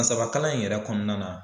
San saba kalan in yɛrɛ kɔnɔna na